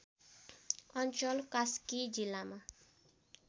अञ्चल कास्की जिल्लामा